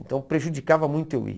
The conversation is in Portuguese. Então prejudicava muito eu ir.